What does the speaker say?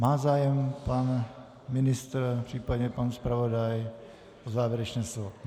Má zájem pan ministr případně pan zpravodaj o závěrečné slovo?